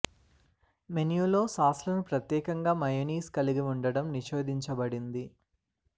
మెనులో సాస్లను ప్రత్యేకంగా మయోన్నైస్ కలిగి ఉండటం నిషేధించబడింది